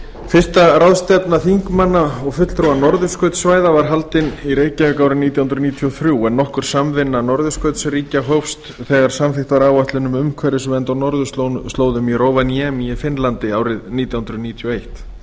fyrsta ráðstefna þingmanna og fulltrúa norðurskautssvæða var haldin í reykjavík árið nítján hundruð níutíu og þrjú en nokkur samvinna norðurskautsríkja hófst þegar samþykkt var áætlun um umhverfisvernd á norðurslóðum í rovaniemi í finnlandi árið nítján hundruð níutíu og eitt ráðstefnan